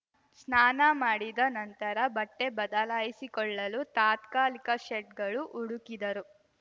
ಸ್ನಾನ ಮಾಡಿದ ನಂತರ ಬಟ್ಟೆಬದಲಾಯಿಸಿಕೊಳ್ಳಲು ತಾತ್ಕಾಲಿಕ ಶೆಡ್‌ಗಳು ಹುಡುಕಿದರು